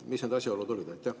Mis need asjaolud olid?